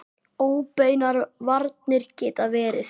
Óbeinar varnir geta verið